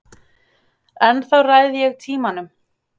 Ennþá ræð ég tímanum.